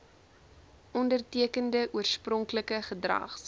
ondertekende oorspronklike gedrags